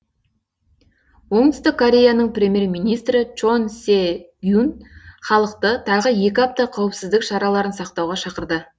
оңтүстік кореяның премьер министрі чон се гюн халықты тағы екі апта қауіпсіздік шараларын сақтауға шақырды